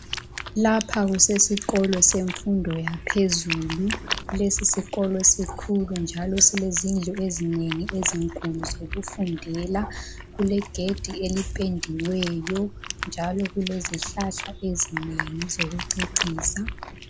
Lapha kusesikolo semfundo yaphezulu lesi sikolo sikhulu njalo silezindu ezinengi ezinkulu zokufundela kulegedi elipendiweyo njalo kulezihlahla ezinengi ezokucecisa.